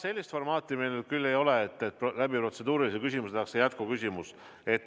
Sellist formaati meil küll ei ole, et protseduurilise küsimuse abil esitatakse jätkuküsimus.